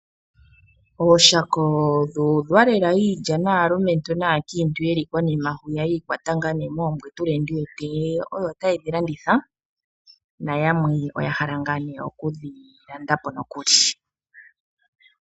Ooshako dhuudha iilya lela, naalumentu naankiintu yiikwata moombwetule mboka ta yedhi landitha nayamwe oya hala okudhi landa po nokuli.